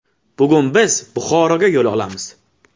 Bugun biz Buxoroga yo‘l olamiz.